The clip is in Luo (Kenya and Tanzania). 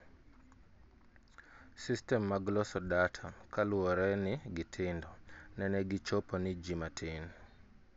System mag loso data kaluwore ni gitindo, nene gichopo ni ji matin